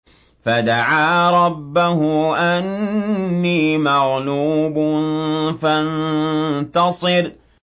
فَدَعَا رَبَّهُ أَنِّي مَغْلُوبٌ فَانتَصِرْ